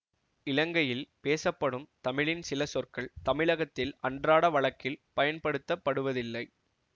இலங்கையில் பேசப்படும் தமிழின் சில சொற்கள் தமிழகத்தில் அன்றாட வழக்கில் பயன்படுத்த படுவதில்லை